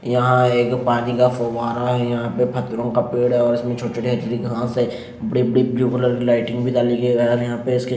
यहाँ एक पानी का फुवारा हैं यहाँ पे फत्तरो का पेड़ हैं और इसमे छोटी छोटी हथेली घास हैं बड़ी बड़ी ब्लू कलर की लाइटिंग भी डाली गयी हैं और यहाँ पर उसके --